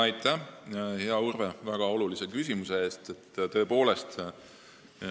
Aitäh, hea Urve, väga olulise küsimuse eest!